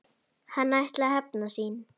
Hann ætlaði að hefna sín!